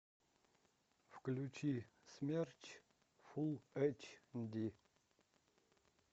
включи смерч фул эйч ди